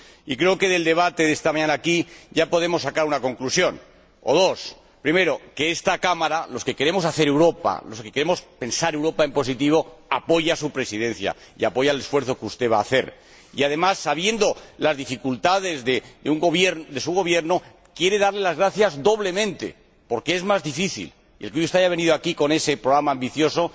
Y creo que del debate de esta mañana, aquí, ya podemos sacar una conclusión, o varias primero, que esta Cámara —los que queremos hacer Europa, los que queremos pensar Europa en positivo— apoya a su Presidencia y apoya el esfuerzo que usted va a hacer, y, además, conociendo las dificultades de su Gobierno, quiere darle las gracias doblemente, porque es más difícil el que hoy haya usted venido aquí con ese programa ambicioso.